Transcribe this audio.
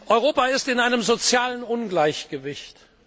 Europa ist in einem sozialen Ungleichgewicht.